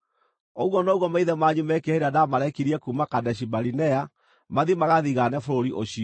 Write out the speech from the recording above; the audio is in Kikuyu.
Ũguo noguo maithe manyu meekire hĩndĩ ĩrĩa ndaamarekirie kuuma Kadeshi-Barinea mathiĩ magathigaane bũrũri ũcio.